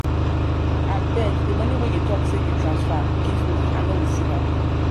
abeg de money wey you talk say you transfer give me i no receive am.